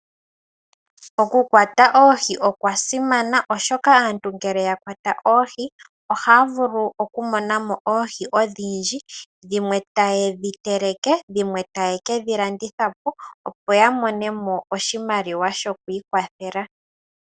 Oku kwata oohi okwa simana oshoka aantu ngele yakwata oohi ohaavulu okumonamo oohi odhindji , dhimwe tayedhi teleke ,dhimwe tayekedhi landithapo opo ya monemo oshimaliwa sho kwii kwathela .